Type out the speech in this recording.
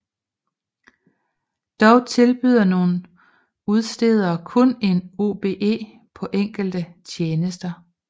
Dog tilbyder nogle udstedere kun en OBE på enkelte tjenester